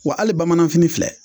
Wa hali bamanan fini filɛ